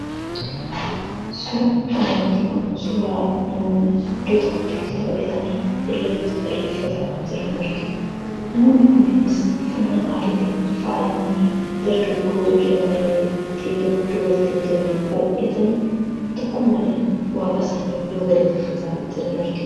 Suuraan kanaa gadii kun suuraa namoonni walitti baay'atanii irreecha irreeffataa jiran agarsiisa. Namoonni kunis uffannaa aadaatiin faayamanii dargaggoo, shamarree , dhiira , dubartii hin jenne baay'atanii tokkummaadhaan waaqa isaanii yeroo galateeffataa jiran argina.